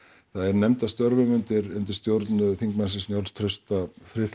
það er nefnd að störfum undir undir stjórn þingmannsins Njáls Trausta